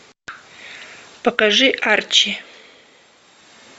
покажи арчи